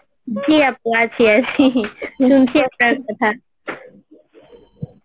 জি আপু আছি আছি শুনছি আপনার কথা